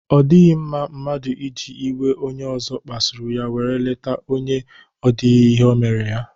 O dighi mma mmadu iji iwe onye ozo kpasuru ya were leta onye o dighi ihe o mere ya.